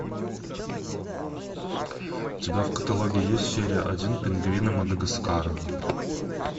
у тебя в каталоге есть серия один пингвины мадагаскара